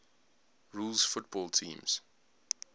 rules football teams